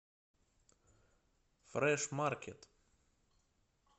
фрэш маркет